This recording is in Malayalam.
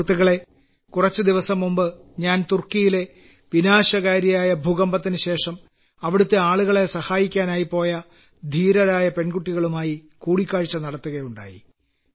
സുഹൃത്തുക്കളേ കുറച്ചുദിവസം മുമ്പ് ഞാൻ തുർക്കിയിലെ വിനാശകാരിയായ ഭൂകമ്പത്തിനുശേഷം അവിടത്തെ ആളുകളെ സഹായിക്കാനായി പോയ ധീരരായ പെൺകുട്ടികളുമായി കൂടിക്കാഴ്ച നടത്തുകയുണ്ടായി